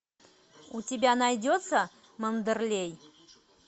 у тебя найдется мандерлей